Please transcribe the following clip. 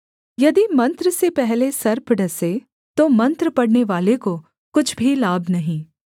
यदि मंत्र से पहले सर्प डसे तो मंत्र पढ़नेवाले को कुछ भी लाभ नहीं